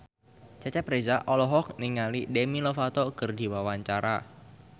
Cecep Reza olohok ningali Demi Lovato keur diwawancara